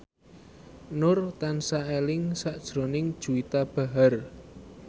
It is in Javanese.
Nur tansah eling sakjroning Juwita Bahar